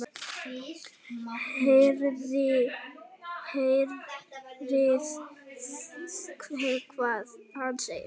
Heyrið hvað hann segir.